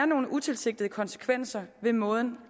nogle utilsigtede konsekvenser ved måden